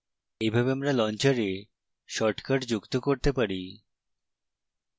এইভাবে আমরা launcher shortcuts যুক্ত করতে পারি